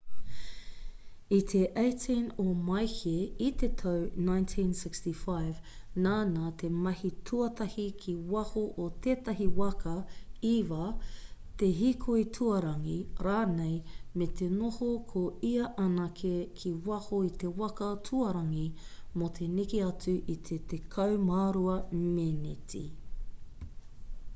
i te 18 o māehe i te tau 1965 nāna te mahi tuatahi ki waho o tētahi waka eva te hīkoi tuarangi rānei me te noho ko ia anake ki waho i te waka tuarangi mō te neke atu i te tekau mā rua meneti